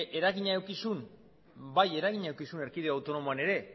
eragina eduki zuen bai eragina eduki zuen erkidego autonomoan ere